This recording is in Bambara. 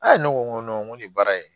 ne ko n ko nin baara in